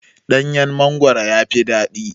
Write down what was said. Ɗanyan mangwaro yafi daɗi